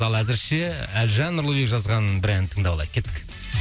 ал әзірше әлжан нұрлыбек жазған бір ән тыңдап алайық кеттік